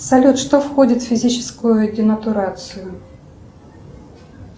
салют что входит в физическую денатурацию